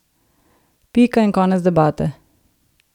Pika in konec debate!